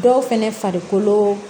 Dɔw fɛnɛ farikolo